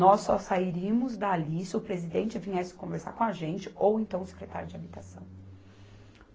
Nós só sairíamos dali se o presidente viesse conversar com a gente ou então o secretário de Habitação.